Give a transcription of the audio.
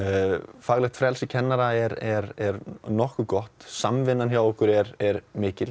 faglegt frelsi kennara er er er nokkuð gott samvinna hjá okkur er er mikil